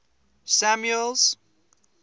samuel's